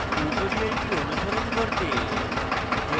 tutorial অনুসরণ করতে